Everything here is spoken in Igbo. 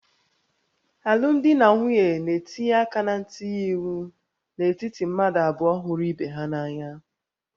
Alụmdi na nwunye na-etinye aka na ntinye iwu n'etiti mmadụ abụọ hụrụ ibe ha n'anya